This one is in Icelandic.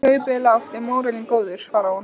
Kaupið er lágt en mórallinn góður, svarar hún.